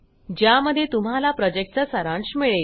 ज्यामध्ये तुम्हाला प्रॉजेक्टचा सारांश मिळेल